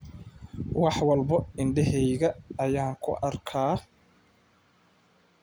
Wax walba indhahayga ayaan ku arkaa.